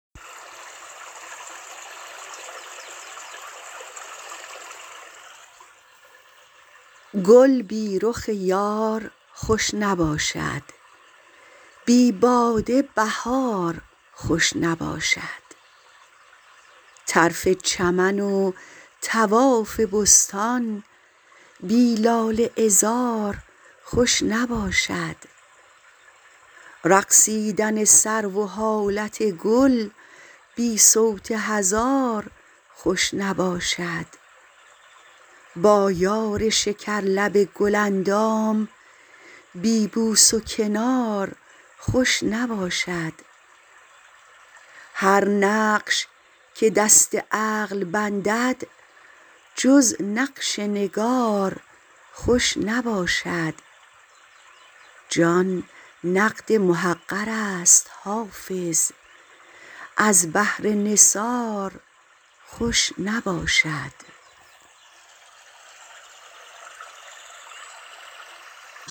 گل بی رخ یار خوش نباشد بی باده بهار خوش نباشد طرف چمن و طواف بستان بی لاله عذار خوش نباشد رقصیدن سرو و حالت گل بی صوت هزار خوش نباشد با یار شکرلب گل اندام بی بوس و کنار خوش نباشد هر نقش که دست عقل بندد جز نقش نگار خوش نباشد جان نقد محقر است حافظ از بهر نثار خوش نباشد